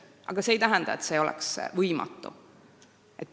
Aga see ei tähenda, et see oleks võimatu.